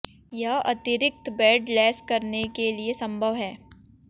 यह अतिरिक्त बेड लैस करने के लिए संभव है